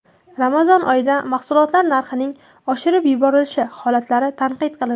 Ramazon oyida mahsulotlar narxining oshirib yuborilishi holati tanqid qilindi.